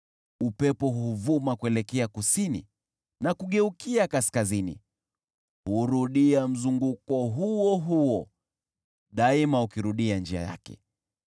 Upepo huvuma kuelekea kusini na kugeukia kaskazini, hurudia mzunguko huo huo, daima ukirudia njia yake.